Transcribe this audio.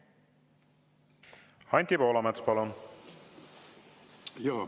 Anti Poolamets, palun!